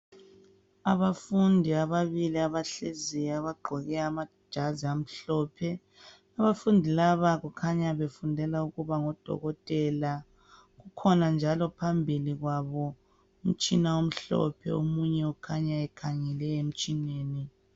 Abafundi ababibili abahleziyo abagqoke amajazi amhlophe, abafundi laba kukhanya befundela ukuba ngodokotela kukhona njalo phambili kwabo umtshina omhlophe omunye kukhanya ekhangele emtshineni.